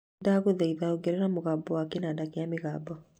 Ndagúthaitha ogerera mũgambo wa kĩnanda kĩa mĩgambo